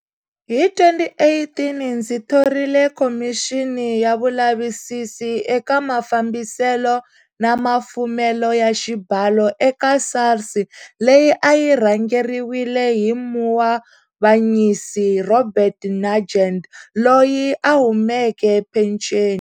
Hi 2018, ndzi thorile khomixini ya vulavisisi eka mafambiselo na mafumelo ya xibalo eka SARS leyi a yi rhangeriwile hi Muavanyisi Robert Nugent loyi a humeke phenceni.